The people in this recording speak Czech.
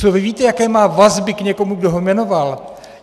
Co vy víte, jaké má vazby k někomu, kdo ho jmenoval?